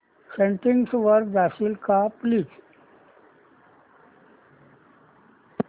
settings वर जाशील का प्लीज